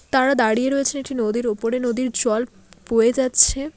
তারা দাঁড়িয়ে রয়েছেন একটি নদীর ওপরে নদীর জল বয়ে যাচ্ছে।